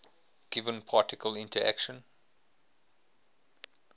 given particle interaction